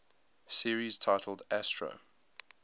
series titled astro